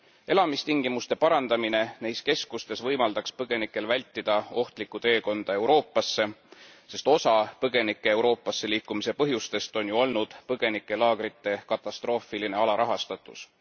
Elamistingimuste parandamine neis keskustes võimaldaks põgenikel vältida ohtlikku teekonda Euroopasse, sest osa põgenike Euroopasse liikumise põhjustest on ju olnud põgenikelaagrite katastroofiline alarahastatus.